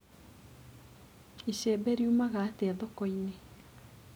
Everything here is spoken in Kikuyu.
Icembe riumaga atĩa thokoinĩ.